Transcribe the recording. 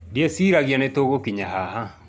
Ndieciragia nĩ tũgũkinya haha